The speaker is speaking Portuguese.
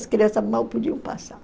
As crianças mal podiam passar.